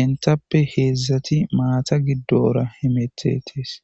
intappe heedzdzati maata giddora hemetetees.